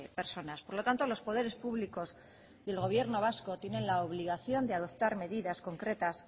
personas por lo tanto los poderes públicos y el gobierno vasco tienen la obligación de adoptar medidas concretas